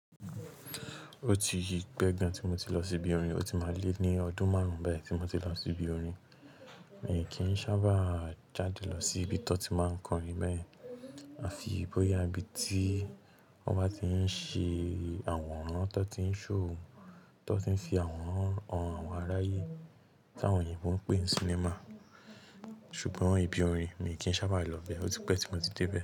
Ó tii pe gan tí mo ti lọ síbi orin, ó ti máa le ní ọdún márùn ún báyìí tí mo ti lọ síbi orin. Èmi kì í sábà jáde lọ sí ibi tí to ti máa ń kọrin bee yen. À fi boya ibí tí wọ́n bá ti ń ṣe àworàn tó ti ń show tó ti ń fi àworan han awon aráyè, tí àwọn òyìnbó ń pè ní cinema. Ṣùgbọ́n ìbí orin mi kì í sábà lọ bẹ́, ó ti pẹ́ tí mo ti dé be.